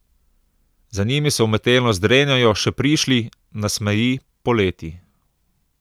Za njimi se umetelno zdrenjajo še prišli, nasmeji, poleti.